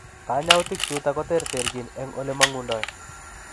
Kanyautik chutok koterterchiin eng olemangundoi.